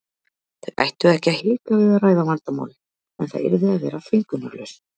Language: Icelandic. Þau ættu ekki að hika við að ræða vandamálin en það yrði að vera þvingunarlaust.